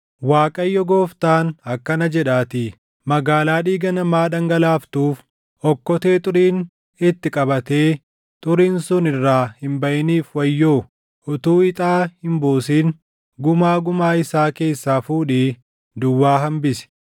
“‘ Waaqayyo Gooftaan akkana jedhaatii: “ ‘Magaalaa dhiiga namaa dhangalaaftuuf, okkotee xuriin itti qabatee xuriin sun irraa hin baʼiniif wayyoo! Utuu ixaa hin buusin gumaa gumaa isaa keessaa fuudhii duwwaa hambisi.